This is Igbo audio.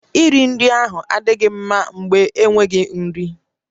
Nri iri ahụ adịghị mma mgbe enweghị nri